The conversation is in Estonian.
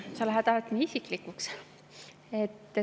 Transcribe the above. Sa lähed alati nii isiklikuks!